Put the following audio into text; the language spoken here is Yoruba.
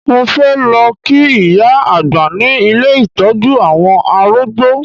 Mo fẹ́ lọ kí ìyá àgbà ní ilé ìtọ́jú àwọn arúgb́o